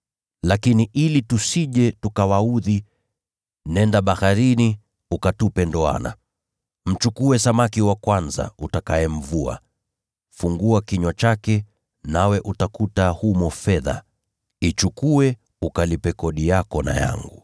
Lakini ili tusije tukawaudhi, nenda baharini ukatupe ndoana. Mchukue samaki wa kwanza utakayemvua. Fungua kinywa chake nawe utakuta humo fedha, ichukue ukalipe kodi yako na yangu.”